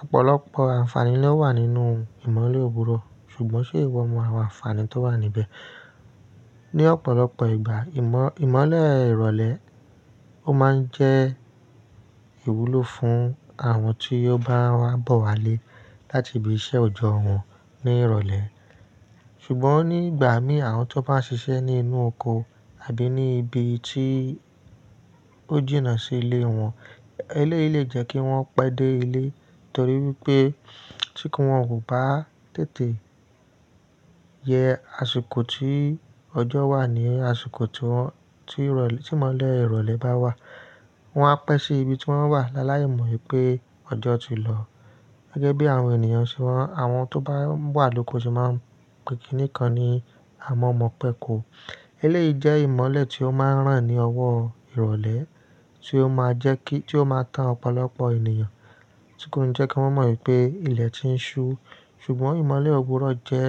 Ọ̀pọ̀lọpọ̀ àǹfààní ló wà nínú ìmọ̀le òwúrọ̀, ṣùgbọ́n ṣé ìwọ mọ àwọn àǹfààní tó wà níbẹ̀? Ni ọ̀pọ̀lọpọ̀ ìgbà, ìmọ̀-- ìmọ̀le ìrọ̀lẹ́ ó máa ń jẹ́ ìwúlò fún àwọn tí ó bá wá bọ̀ wá lé láti ibi iṣẹ́ òjọ́ wọn ní ìrọ̀lẹ́. Ṣùgbọ́n nígbà mí, àwọn tó bá ń ṣiṣẹ́ ní inú oko àbí ní ibi tí ó jìnnà sí ilé wọn, eléyìí lè jẹ́ kí wọ́n pẹ́ dé ilé torí wípé tí kí wọ́n kò bá tètè je àsìkò tí ọjọ́ wà ní àsìkọ̀ tíwọ́n-- tí ìrọ̀lẹ́-- tí ìmọ̀le ìrọ̀lẹ́ bá wà, wọn á pẹ́ sí ibi tí wọ́n wà láláìmọ wìpé ọjọ́ ti lọ. Gẹ́gẹ́ bí àwọn ènìyàn ṣe wọ́n, àwọn tó bá ń wà lóko sì máa ń pèkí nìkan ní a mọ̀ mọ̀ pé ko. Eléyìí jẹ́ ìmọ̀le tí ó máa ń ràn ní ọwọ́ ìrọ̀lẹ́ tí ó máa jẹ́ kí-- tí ó máa tán ọ̀pọ̀lọpọ̀ ènìyàn, tí kò ní jẹ́ kí wọ́n mọ ìpé ilẹ̀ tí ń ṣú. Ṣùgbọ́n ìmọ̀le òwúrọ̀ jẹ́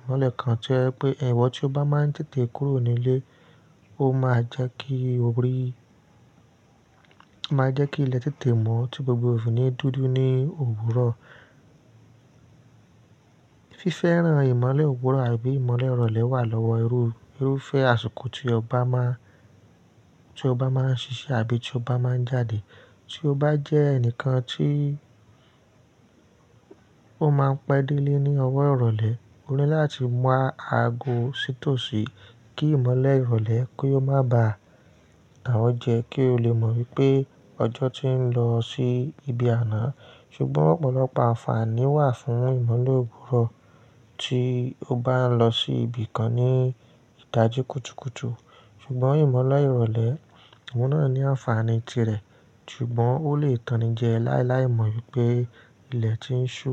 ìmọ̀le kan tí o je wipe iwo ó máa ń tètè kúrò nílé, ó máa jẹ́ kí orí-- máa jẹ́ kí ilẹ̀ tètè mọ́ tí gbogbo ò fi ni dúdú ní òwúrọ̀. Fífẹ́ràn ìmọ̀le òwúrọ̀ àbí ìmọ̀le ìrọ̀lẹ́ wà lọ́wọ́ irú-irúfẹ́ àsìkò tí ọba máa-- tí ọba máa ń ṣiṣẹ́ àbí tí ọba máa ń jáde. Tí o bá jẹ́ ẹnìkan tí ó máa ń pẹ́ dé ilé ní ọ̀wọ́ ìrọ̀lẹ́, o ní láti wa ago sítòsí kí ìmọ̀le ìrọ̀lẹ́ kó má ba tan o jẹ́. Kí o lé mọ̀ pé ọjọ́ ti ń lọ sí ibi àná. Ṣùgbọ́n ọ̀pọ̀lọpọ̀ àǹfààní wà fún ìmọ̀lé òwúrọ̀ tí o bá ń lọ sí ibìkan ní ìdájí kùtùkùtù. Ṣùgbọ́n ìmọ̀le ìrọ̀lẹ́, ìwọ́ náà ní àǹfààní tirẹ̀, ṣùgbọ́n ó lè tàn ní jẹ láíláí mọ̀ í pé ilẹ̀ ti ń ṣú.